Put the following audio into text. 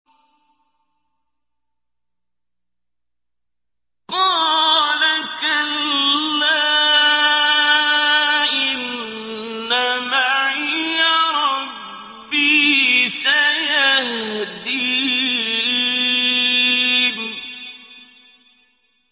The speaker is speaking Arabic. قَالَ كَلَّا ۖ إِنَّ مَعِيَ رَبِّي سَيَهْدِينِ